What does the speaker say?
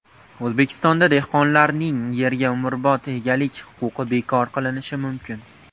O‘zbekistonda dehqonlarning yerga umrbod egalik huquqi bekor qilinishi mumkin.